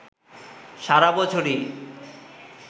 সারা বছরই